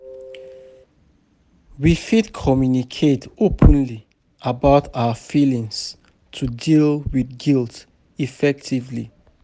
We fit communicate openly about our feelings to deal with guilt effectively.